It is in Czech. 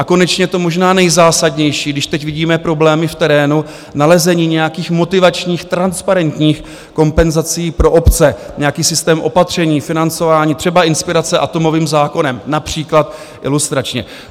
A konečně to možná nejzásadnější, když teď vidíme problémy v terénu: nalezení nějakých motivačních transparentních kompenzací pro obce, nějaký systém opatření, financování, třeba inspirace atomovým zákonem, například ilustračně.